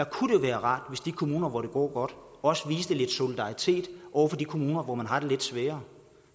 kunne jo være rart hvis de kommuner hvor det går godt også viste lidt solidaritet over for de kommuner hvor man har det lidt sværere